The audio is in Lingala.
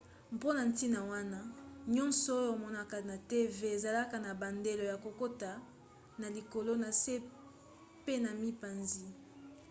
mpona ntina wana nyonso oyo omonaka na tv ezalaka na bandelo ya kokata na likolo na se pe na mipanzi